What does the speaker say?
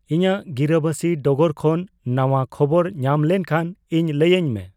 ᱤᱧᱟᱜ ᱜᱤᱨᱟᱹᱵᱟᱥᱤ ᱰᱚᱜᱚᱨ ᱠᱷᱚᱱ ᱱᱟᱣᱟ ᱠᱷᱚᱵᱚᱨ ᱧᱟᱢ ᱞᱮᱱᱠᱷᱟᱱ ᱤᱧ ᱞᱟᱹᱭᱟᱹᱧ ᱢᱮ